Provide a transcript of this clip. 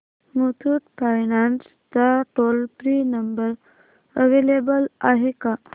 Muthoot finance चा toll free number available आहे का